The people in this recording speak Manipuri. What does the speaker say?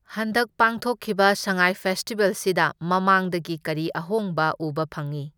ꯍꯟꯗꯛ ꯄꯥꯡꯊꯣꯛꯈꯤꯕ ꯁꯉꯥꯏ ꯐꯦꯁꯇꯤꯚꯦꯜꯁꯤꯗ ꯃꯃꯥꯥꯡꯗꯒꯤ ꯀꯔꯤ ꯑꯍꯣꯡꯕ ꯎꯕ ꯐꯪꯢ?